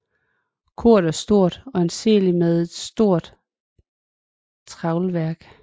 Koret er stort og anseeligt med et stort tralværk